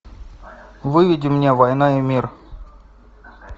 выведи мне война и мир